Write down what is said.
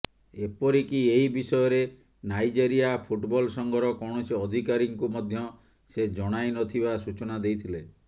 ଏପରିକି ଏହି ବିଷୟରେ ନାଇଜେରିଆ ଫୁଟବଲ୍ ସଂଘର କୌଣସି ଅଧିକାରୀଙ୍କୁ ମଧ୍ୟ ସେ ଜଣାଇ ନଥିବା ସୂଚନା ଦେଇଥିଲେ